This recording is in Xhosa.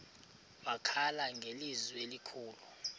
wakhala ngelizwi elikhulu